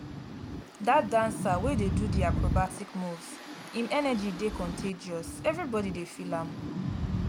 dat dancer wey dey do di acrobatic moves im energy dey contagious everybodi feel am.